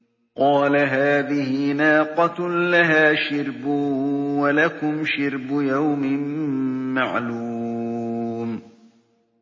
قَالَ هَٰذِهِ نَاقَةٌ لَّهَا شِرْبٌ وَلَكُمْ شِرْبُ يَوْمٍ مَّعْلُومٍ